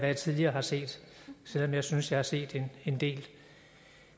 jeg tidligere har set selv om jeg synes jeg har set en del